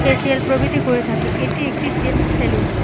Facial প্রভৃতি করে থাকে। এটি একটি জেন্টস স্যালুন ।